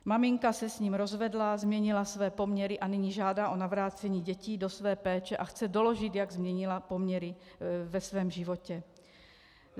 Maminka se s ním rozvedla, změnila své poměry a nyní žádá o navrácení dětí do své péče a chce doložit, jak změnila poměry ve svém životě.